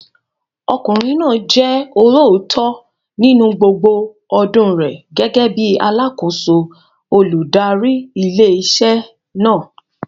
Ọkùnrin náà jẹ́ olóòótọ́ nínú gbogbo ọdún rẹ̀ gẹ́gẹ́ bíi alákòóso olùdarí ilé iṣẹ́ náà.